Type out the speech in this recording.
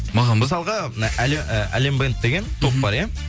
маған ба мысалға әлем бенд деген топ бар иә